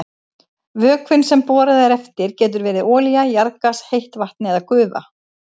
Vökvinn sem borað er eftir getur verið olía, jarðgas, heitt vatn eða gufa.